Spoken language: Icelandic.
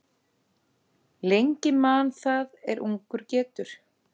Lengi man það er ungur getur.